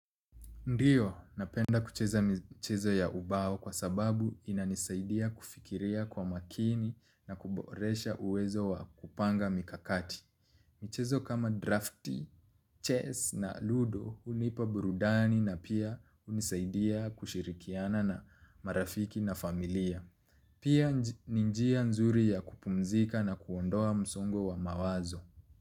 Ndiyo, napenda kucheza michezo ya ubao kwa sababu inanisaidia kufikiria kwa makini na kuboresha uwezo wa kupanga mikakati. Mchezo kama drafti, chess na ludo hunipa burudani na pia hunisaidia kushirikiana na marafiki na familia. Pia ni njia nzuri ya kupumzika na kuondoa msongo wa mawazo.